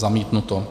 Zamítnuto.